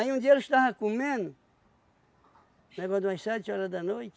um dia ele estava comendo, negócio de umas sete horas da noite,